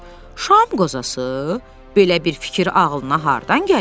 Şam qozası, belə bir fikir ağılına hardan gəlib?